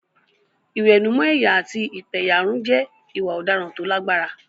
Ìwẹ̀nùmọ́ ẹ̀yà àti ìpẹ̀yàrun jẹ́ ìwà ọ̀daràn tó lágbára.